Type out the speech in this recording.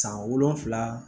San wolonfila